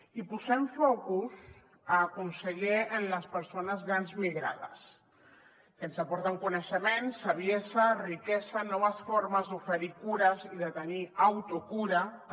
i posem focus conseller en les persones grans migrades que ens aporten coneixement saviesa riquesa noves formes d’oferir cures i de tenir autocura també